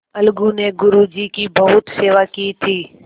अलगू ने गुरु जी की बहुत सेवा की थी